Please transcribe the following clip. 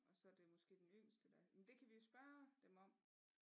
Og så er det måske den yngste der men det kan vi jo spørge dem om